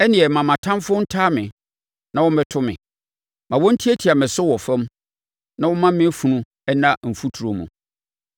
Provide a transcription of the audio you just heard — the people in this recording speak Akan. ɛnneɛ ma mʼatamfoɔ ntaa me na wɔmmɛto me; ma wɔntiatia me so wɔ fam na wɔmma me funu nna mfuturo mu.